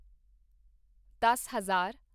ਦੱਸ ਹਜ਼ਾਰ